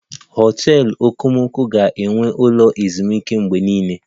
Hotels okomoko ga-enwe ụlọ ezumike mgbe niile